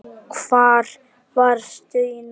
Og hvar varstu í nótt?